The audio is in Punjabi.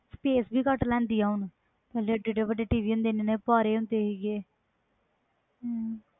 space ਵੀ ਘਟ ਲੈਂਦੀ ਹੁਣ ਪਹਿਲੇ ਕੀਨੇ ਕੀਨੇ ਵੱਡੇ ਟੀ ਵੀ ਹੁੰਦੇ ਸੀ